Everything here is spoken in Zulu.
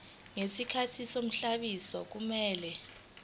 ngesikhathi sobhaliso kumele